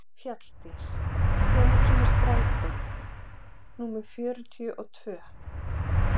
Fjalldís, hvenær kemur strætó númer fjörutíu og tvö?